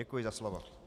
Děkuji za slovo.